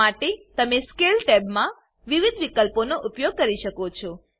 આ માટે તમે સ્કેલ ટેબમા વિવિધ વિકલ્પોનો ઉપયોગ કરી શકો છો